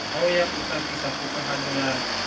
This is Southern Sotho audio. ya ho potlakisa kgokahanyo ya